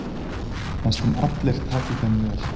Næstum allir taki þeim vel.